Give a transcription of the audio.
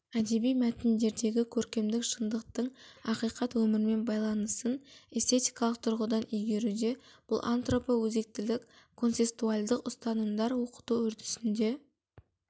әдеби мәтіндердегі көркемдік шындықтың ақиқат өмірмен байланысын эстетикалық тұрғыдан игеруде бұл антропоөзектілік концестуальдық ұстанымдар оқыту үрдісінде